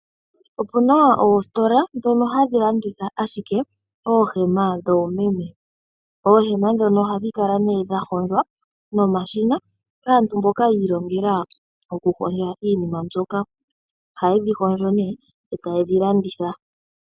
Opuna oositola ndhono hadhi landitha ashike oohema dhoomeme. Oohema ndhono ohadhi kala dha hondjwa nomashina ga nduluka iilongela okuhondja iinima mbyoka, ohayedhi hondjo etayedhi landitha.